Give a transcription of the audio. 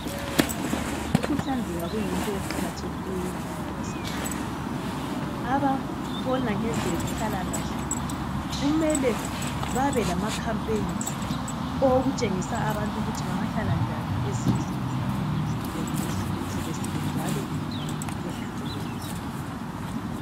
Ukuhlanzeka kuyinto eqakathekileyo empilweni zethu ababona ngezenhlalakahle kumele babe lemikhankaso owokutshengisa abantu ukuthi bengahlala njani ezindlini zabo bechelesile njalo behlambulukile.